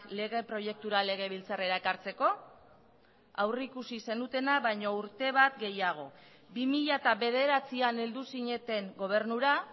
lege proiektura legebiltzarrera ekartzeko aurrikusi zenutena baino urte bat gehiago bi mila bederatzian heldu zineten gobernura